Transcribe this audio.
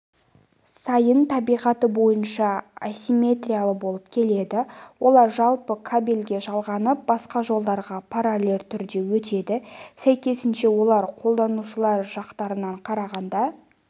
сайын табиғаты бойынша асимметриялы болып келеді олар жалпы кабельге жалғанып басқа жолдарға параллель түрде өтеді сәйкесінше олар қолданушылар жақтарына қарағанда